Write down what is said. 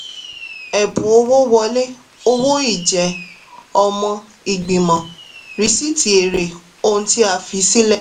ẹ̀bùn owó wọlé owó ìjẹ́-ọmọ-ìgbìmọ̀ rìsíìtì eré ohun tí a fi sílẹ̀.